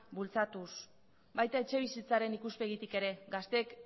bultzatuz baita etxebizitzaren ikuspegitik ere gazteek